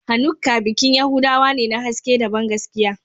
Hanukkah bikin Yahudawa ne na haske da bangaskiya